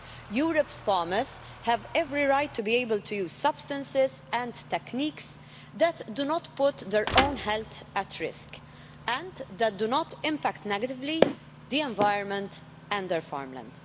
Europe's farmers have every right to be able to use substances and techniques that do not put their own health at risk and that do not impact negatively on the environment and their farmland.